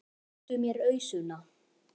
Réttu mér ausuna!